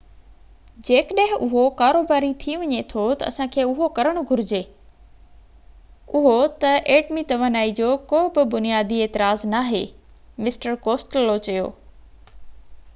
جيڪڏهن اهو ڪاروباري ٿي وڃي ٿو ته اسان کي اهو ڪرڻ گهرجي اهو ته ايٽمي توانائي جو ڪو به بنيادي اعتراض ناهي مسٽر ڪوسٽيلو چيو